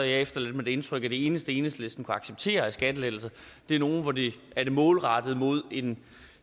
jeg efterladt med det indtryk at de eneste enhedslisten kunne acceptere af skattelettelser er nogle hvor de er målrettet en